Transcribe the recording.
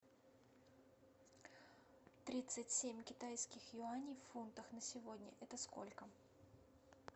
тридцать семь китайских юаней в фунтах на сегодня это сколько